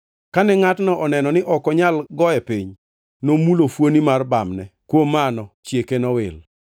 Kane ngʼatno oneno ni ok onyal goye piny, nomulo fuoni mar bamne, kuom mano chieke nowil.